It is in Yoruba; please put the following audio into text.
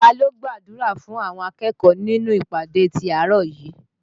Ta ló gbàdúrà fún àwọn akẹ́kọ̀ọ́ nínú ìpàdé ti àárọ̀ yìí?